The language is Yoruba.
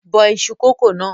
Bọ iṣu kókò náà!